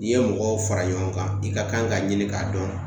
N'i ye mɔgɔw fara ɲɔgɔn kan i ka kan ka ɲini k'a dɔn